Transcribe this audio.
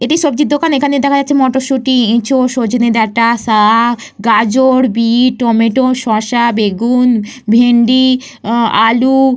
এটি সবজির দোকান। এইখানে দেখা যাচ্ছে মটরশুঁটি এঁচোড় সজনে ডাটা শাক গাজর বিট শসা টমেটম বেগুন ভেন্ডি আলু।